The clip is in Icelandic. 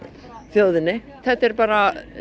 þjóðinni þetta er bara